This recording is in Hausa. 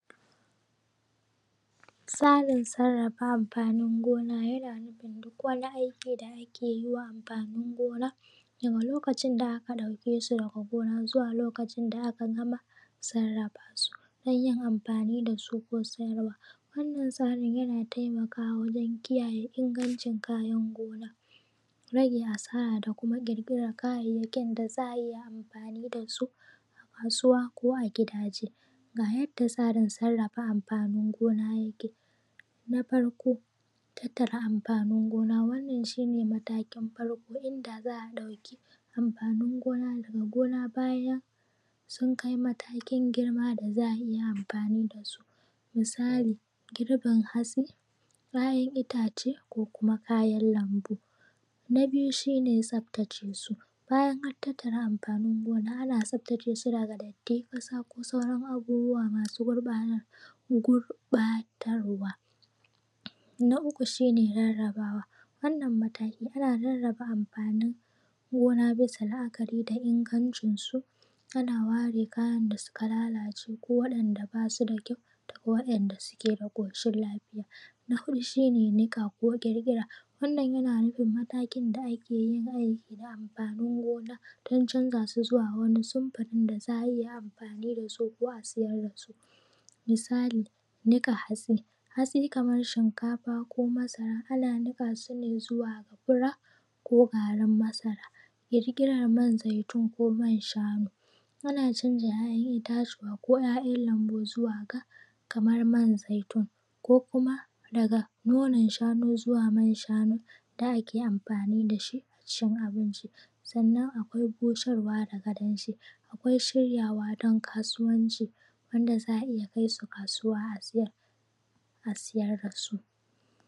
Tsarin sarrafa amfanin gona yana nufin duk wani aikin da ake yi wa amfanin gona daga lokacin da aka ɗauke su daga gona zuwa lokacin da aka gama sarrafa su, don yin amfani da su ko sayarwa. Wannan tsarin yana taimakawa wajan kiyaye ingancin kayan gona, rage asara, da kuma ƙirƙiran kayayyakin da za a iya amfani da su a kasuwa ko a gidaje. Ga yadda tsarin sarrafa amfanin gona yake. Na farko tattare amfanin gona, wannan shine matakin farko idan za a ɗauki amfanin gona daga gona bayan sun kai matakin girma da za a iya amfani da su, misali girbin hatsi, kayan itace, ko kuma kayan lambu. Na biyu shi ne tsaftace su bayan an tattara amfanin gona. Ana tsaftace su daga datti, ƙasa ko sauran abubuwa masu gurɓatarwa. Na uku shine rarraba wa wannan mataki. Ana rarraba amfanin gona bisa la’akari da ingancin su, ana ware kayan da suka lalace, ko waɗanda ba su da kyau ko waɗanda suke da ƙoshin lafiya. Na huɗu shi ne niƙa ko ƙirƙira, wannan yana nufin matakin da ake yi, aiki da amfanin gona don canza su zuwa wani sunfurin da za a iya amfani da su ko a siyar da su. Misali, niƙa hatsi. Hatsi kaman shinkafa, ko masara, ana niƙa su ne zuwa ga fura ko garin masara. Ƙirƙiran man zaitun, ko man shanu. Ana canza ‘ya’yan itatuwa ko ‘yayan lambu zuwa ga kamar man zaitun ko kuma daga nonon shanu zuwa man shanu da ake amfani da shi wajen cin abinci. Sannan akwai busarwa daga danshi akwai shiryawa don kasuwanci wanda za a iya kai su kasuwa a siyar da su.